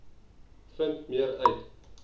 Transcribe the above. vind meer uit